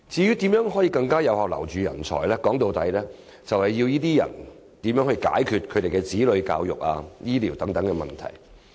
要更有效留人才，說到底，就是要為他們解決子女教育、醫療等問題。